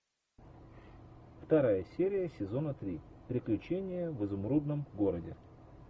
вторая серия сезона три приключения в изумрудном городе